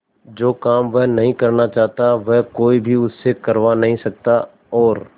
जो काम वह नहीं करना चाहता वह कोई भी उससे करवा नहीं सकता था और